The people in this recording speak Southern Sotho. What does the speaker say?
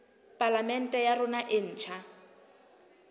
palamente ya rona e ntjha